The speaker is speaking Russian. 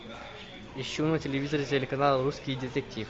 ищу на телевизоре телеканал русский детектив